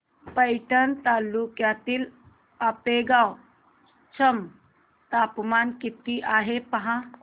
पैठण तालुक्यातील आपेगाव चं तापमान किती आहे पहा